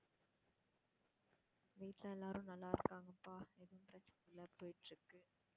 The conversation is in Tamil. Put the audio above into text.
வீட்டுல எல்லாரும் நல்லா இருக்காங்கப்பா, எதும் பிரச்சனை இல்ல போயிட்டிருக்கு